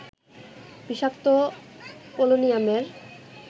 বিষাক্ত পোলোনিয়ামের